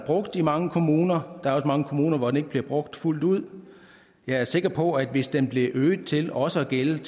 i mange kommuner der er også mange kommuner hvor den ikke bliver brugt fuldt ud jeg er sikker på at hvis den blev øget til også at gælde